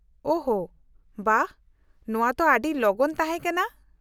-ᱳᱦᱚ, ᱵᱟᱦ, ᱱᱚᱶᱟ ᱛᱚ ᱟᱹᱰᱤ ᱞᱚᱜᱚᱱ ᱛᱟᱦᱮᱸ ᱠᱟᱱᱟ !